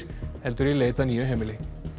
heldur í leit að nýju heimili